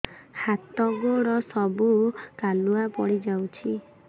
ହାତ ଗୋଡ ସବୁ କାଲୁଆ ପଡି ଯାଉଛି